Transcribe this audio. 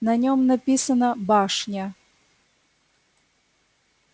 на нём написано башня